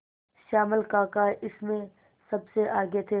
श्यामल काका इसमें सबसे आगे थे